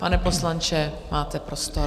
Pane poslanče, máte prostor.